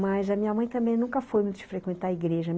Mas a minha mãe também nunca foi muito frequentar a igreja.